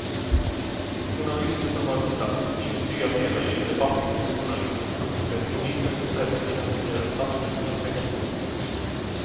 Journalister som varit på plats intygar senare i en debatt inför journalister att de sett polisen och räddningstjänsten göra ett absolut perfekt jobb.